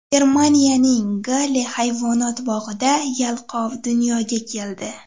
Germaniyaning Galle hayvonot bog‘ida yalqov dunyoga keldi.